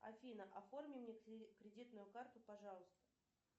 афина оформи мне кредитную карту пожалуйста